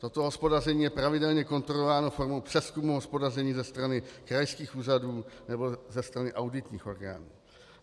Toto hospodaření je pravidelně kontrolováno formou přezkumu hospodaření ze strany krajských úřadů nebo ze strany auditních orgánů.